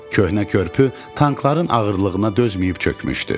Köhnə körpü tankların ağırlığına dözməyib çökmüşdü.